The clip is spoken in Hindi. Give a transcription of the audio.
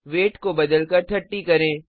वेट को बदलकर 30 करें